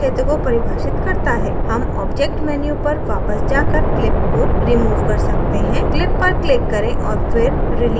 हम object menu पर वापस जाकर clip को remove कर सकते हैं clip पर click करें और फिर release पर click करें